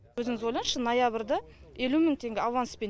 өзіңіз ойлаңызшы ноябрьды елу мың теңге аванспен